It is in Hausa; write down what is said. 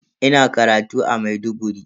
Ina karatu a Maiduguri.